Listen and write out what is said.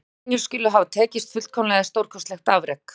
Að lendingin skuli hafa tekist fullkomlega er stórkostleg afrek.